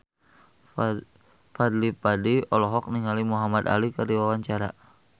Fadly Padi olohok ningali Muhamad Ali keur diwawancara